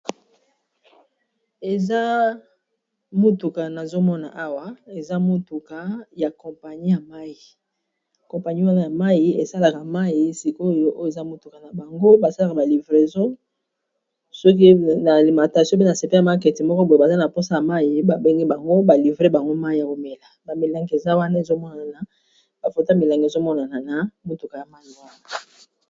Eza motuka nazomona awa eza motuka ya kompagni ya mai kompani wana ya mai esalaka mai sikoyo o eza motuka na bango basalaka balivreso soki na limatation pena sepe ya maketi moko boye baza na mposa mai babenge bango balivre bango mai ya komela bamilanga eza wana ezomona na bafota milanga ezomonana na motuka ya mai wana